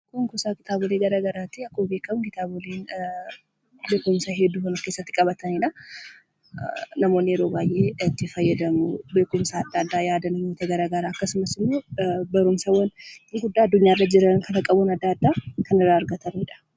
Kuusaa kitaabilee garaa garaati. Beekumsa hedduu kan of keessatti qabatanidha. Namoonni yeroo baay'ee itti fayyadamu. Beekumsa adda addaa, yaadannoo gara garaa akkasumas ammoo barumsawwan guguddaa addunyaa irra jiran kan qarooma adda addaa kan irraa argatanidha.